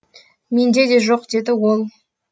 менде де жоқ деді ол